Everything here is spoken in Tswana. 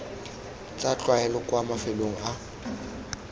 tsa tlwaelo kwa mafelong a